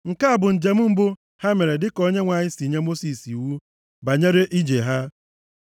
Nke a bụ njem mbụ ha mere dịka Onyenwe anyị si nye Mosis iwu banyere ije ha.